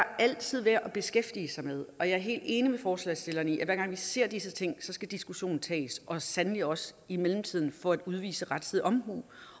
altid værd at beskæftige sig med og jeg er helt enig med forslagsstillerne i at hver gang vi ser disse ting skal diskussionen tages og sandelig også i mellemtiden for at udvise rettidig omhu